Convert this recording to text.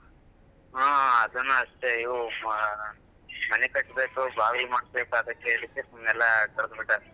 ಹಾ ಅದನ್ನು ಅಷ್ಟೇ ಯೂ ಮನೆ ಕಟ್ಟಬೇಕು ಬಾವಿ ಮಾಡ್ಬೇಕು ಅಂತ ಹೇಳಿ ಸುಮ್ನೆ ಕಡ್ದ್ಬಿಟ್ಟಿದ್ದಾರೆ.